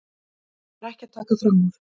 Ég var ekki að taka fram úr.